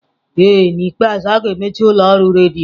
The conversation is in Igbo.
Ee n'ikpeazụ, a ga-emechi ụlọ ọrụ redio.